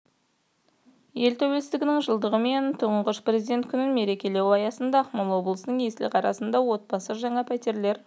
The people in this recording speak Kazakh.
ел тәуелсіздігінің жылдығы мен тұңғыш президенті күнін мерекелеу аясында ақмола облысының есіл қаласында отбасы жаңа пәтерлер